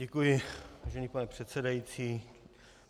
Děkuji, vážený pane předsedající.